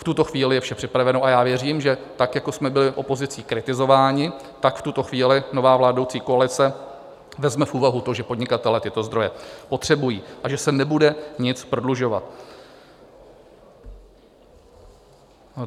V tuto chvíli je vše připraveno a já věřím, že tak, jako jsme byli opozicí kritizováni, tak v tuto chvíli nová vládnoucí koalice vezme v úvahu to, že podnikatelé tyto zdroje potřebují a že se nebude nic prodlužovat.